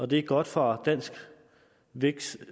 det er godt for dansk vækst